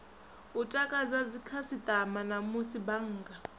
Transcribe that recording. u takadza dzikhasitama namusi bannga